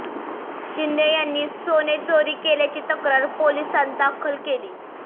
शिंदे यांनी सोने चोरी केल्याची तक्रार पोलिसांत दाखल केली